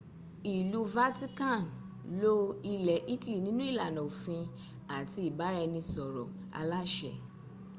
ìlú vatican lo ilẹ̀ italy nínú ìlànà òfin àti ìbáraẹnisọ̀rọ̀ aláṣẹ